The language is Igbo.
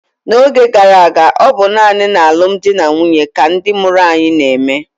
n'oge gara aga, ọ bụ naanị n'alụmdi na nwunye ka ndị mụrụ anyị na-eme